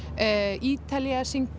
Ítalía syngur